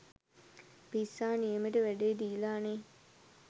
පිස්සා නියමෙට වැඩේ දීලා නේ